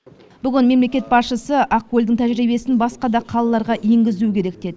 бүгін мемлекет басшысы ақкөлдің тәжірибесін басқа да қалаларға енгізу керек деді